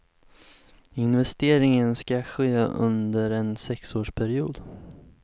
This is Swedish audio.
Investeringen ska ske under en sexårsperiod.